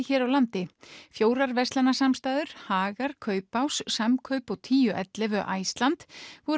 hér á landi fjórar Hagar Kaupás Samkaup og tíu til ellefu Iceland